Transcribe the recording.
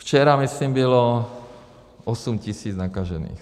Včera, myslím, bylo osm tisíc nakažených.